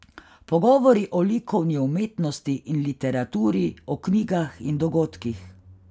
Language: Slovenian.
Pogovori o likovni umetnosti in literaturi, o knjigah in dogodkih...